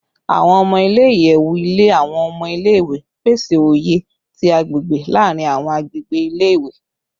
Awọn ọmọ ile-iyẹwu ile awọn ọmọ ile-iwe, pese oye ti agbegbe laarin awọn agbegbe ile-iwe